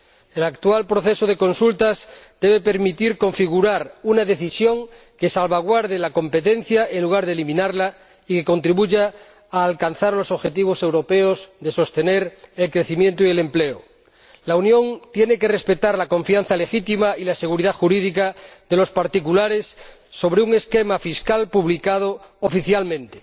El actual proceso de consultas debe permitir configurar una decisión que salvaguarde la competencia en lugar de eliminarla y que contribuya a alcanzar los objetivos europeos de sostener el crecimiento y el empleo. La Unión tiene que respetar la confianza legítima y la seguridad jurídica de los particulares sobre la base de un esquema fiscal publicado oficialmente.